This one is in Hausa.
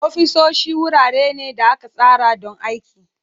Ofisoshi wurare ne da aka tsara don aiki.